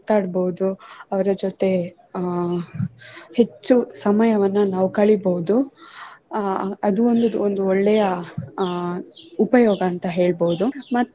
ಮಾತಾಡ್ಬೋದು ಅವರ ಜೊತೆ ಅಹ್ ಹೆಚ್ಚು ಸಮಯವನ್ನು ನಾವು ಕಳಿಬಹುದು ಅಹ್ ಅದು ಒಂದು ಒಳ್ಳೆಯ ಉಪಯೋಗ ಅಂತ ಹೇಳ್ಬೋದು.